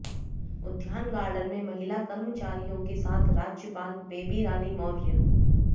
उद्यान गार्डन में महिला कर्मचारियों के साथ राज्यपाल बेबी रानी मौर्य